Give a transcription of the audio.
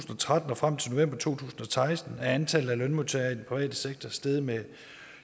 tretten og frem til november to tusind og seksten er antallet af lønmodtagere i den private sektor steget med